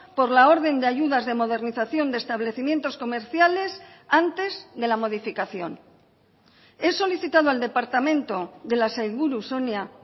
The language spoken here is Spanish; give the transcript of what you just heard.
por la orden de ayudas de modernización de establecimientos comerciales antes de la modificación he solicitado al departamento de la sailburu sonia